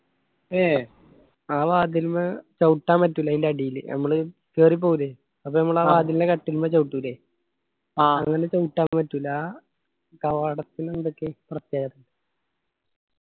ഏയ് ആ വാതിൽന്ന് ചവുട്ടാൻ പറ്റൂല്ല ആയിന്റ അടിയിൽ ഞമ്മള് കേറി പോവൂല്ലേ അത് കട്ടിൽമ ചവുട്ടുല്ലേ അങ്ങനെ ചവുട്ടാൻ പറ്റൂല്ല കവാടത്തിന് എന്തൊക്കെ പ്രത്യേകത